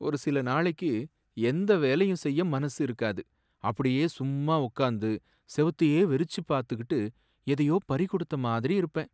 ஒரு சில நாளைக்கு எந்த வேலையும் செய்ய மனசு இருக்காது. அப்படியே சும்மா உட்கார்ந்து செவுத்தையே வெறிச்சு பார்த்துகிட்டு எதையோ பறிகொடுத்த மாதிரி இருப்பேன்.